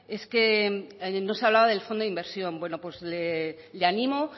es que no se hablaba del fondo de inversión bueno pues le animo